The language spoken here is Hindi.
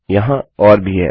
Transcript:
वहाँ और भी हैं